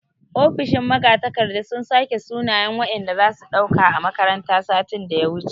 Ofishin magatakarda sun sake sunayen wanda zasu ɗauka a makaranta satin daya wuce